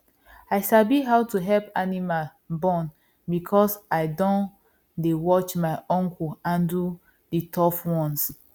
i sabi how to help animal born because i don dey watch my uncle handle the tough ones